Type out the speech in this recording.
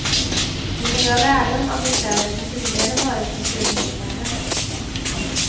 Vi kan dra lärdom av de städer som tidigare varit kulturhuvudstäder.